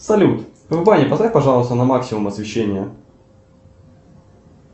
салют в бане поставь пожалуйста на максимум освещение